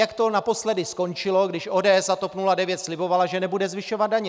Jak to naposledy skončilo, když ODS a TOP 09 slibovaly, že nebudou zvyšovat daně?